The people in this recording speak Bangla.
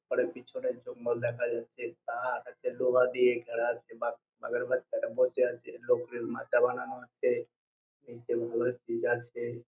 ঘরের পিছনে জঙ্গল দেখা যাচ্ছে তার আছে লোহা দিয়ে ঘেরা আছে বাঘের বাচ্ছারা বসে আছে নতুন মাচা বানানো হচ্ছেএই চেন গুলা ঠিক আছে।